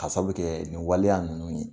Ka sabu kɛ nin waleya nunnu ye.